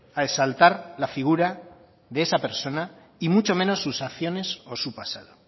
a exaltar la figura de esa persona y mucho menos sus acciones o su pasado